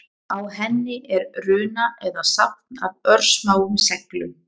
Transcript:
Á henni er runa eða safn af örsmáum seglum.